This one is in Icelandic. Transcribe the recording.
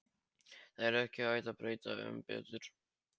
Það er ekki hægt að bæta um betur.